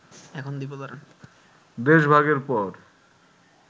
দেশভাগের পর